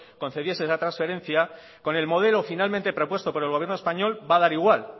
concediese esa transferencia con el modelo finalmente propuesto por el gobierno español va a dar igual